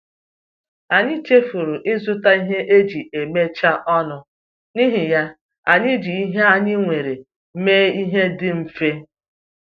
Anyị chefuru ịzụta ihe eji emechaa ọnụ, n’ihi ya, anyị ji ihe anyị nwere mee ihe dị mfe